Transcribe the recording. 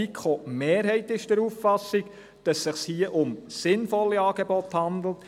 Auch die Mehrheit der FiKo ist der Auffassung, dass es sich hier um sinnvolle Angebote handelt.